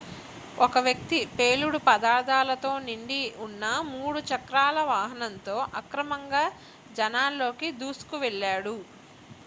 ఒక వ్యక్తి పేలుడు పదార్ధాలతో నిండి ఉన్న 3 చక్రాల వాహనంతో అక్రమంగా జనాల్లోకి దూసుకు వెళ్ళాడు